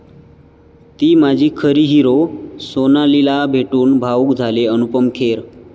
ती माझी खरी हीरो', सोनालीला भेटून भावूक झाले अनुपम खेर